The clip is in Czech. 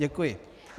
Děkuji.